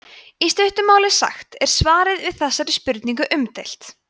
í stuttu máli sagt er svarið við þessari spurningu umdeilt